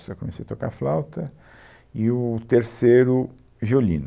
Eu comecei a tocar flauta e o terceiro, violino.